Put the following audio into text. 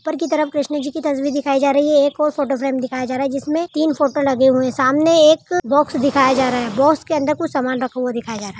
ऊपर की तरफ कृष्ण जी कि तसवीर दिखाई जा रही है एक और फोटो फ्रेम दिखाया जा रहा है जिसमें तीन फोटो लगे हुए हैं सामने एक बॉक्स दिखाया जा रहा है बाक्स के अन्दर कुछ सामान रखा हुआ दिखाया जा रहा है।